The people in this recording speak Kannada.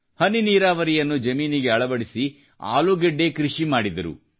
ಹನಿನೀರಾವರಿ ಯನ್ನು ಜಮೀನಿಗೆ ಅಳವಡಿಸಿ ಆಲೂಗೆಡ್ಡೆ ಕೃಷಿ ಮಾಡಿದರು